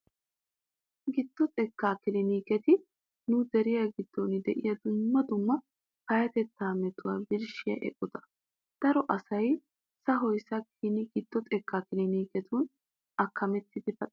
Giddo xekkaa kiliniketi nu deriya giddon de'iya dumma dumma payyatettaa metuwaa birshshiya eqotata. Daro asay sahoy sakkin giddo xekkaa kiliniketun akkamettidi paxiis.